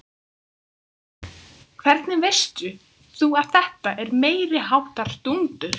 Hvernig veist þú að þetta er meiriháttar dúndur?